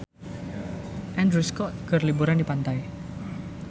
Andrew Scott keur liburan di pantai